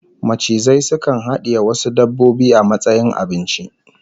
Macizai sukan hadiye wasu dabbobin a matsayin abinci